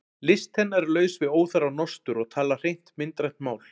List hennar er laus við óþarfa nostur og talar hreint myndrænt mál.